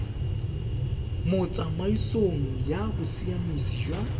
mo tsamaisong ya bosiamisi jwa